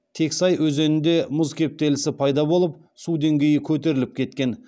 тексай өзенінде мұз кептелісі пайда болып су деңгейі көтеріліп кеткен